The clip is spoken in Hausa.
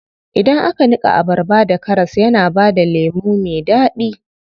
Idan aka niƙa abarba da karas yana bada lemu me daɗi.